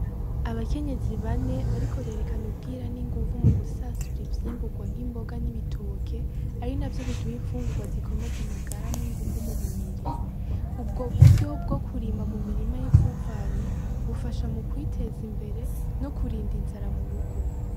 Abakenyezi bane bariko berekana ubwira n’inguvu mugusasura ivyimbugwa nk’Imboga n’Ibitoke, ari navyo biduha imfugugwa zikomeza amagara ninguvu mumubiri. Ubwo buryo bwo kurima mumurima yipfupfane bufasha mukwiteza imbere ko kurinda inzara murugo.